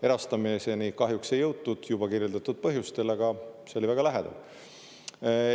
Erastamiseni kahjuks ei jõutud juba kirjeldatud põhjustel, aga see oli väga lähedal.